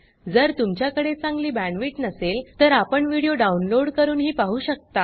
जर तुमच्याकडे चांगली बॅण्डविड्थ नसेल तर आपण व्हिडिओ डाउनलोड करूनही पाहू शकता